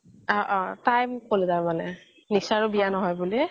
অহ অহ তাই মোক ক্'লে তাৰমানে নিশাৰও বিয়া নহয় বুলি